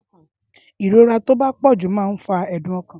ìrora tó bá pọ̀jù man ńfa ẹ̀dùn ọkàn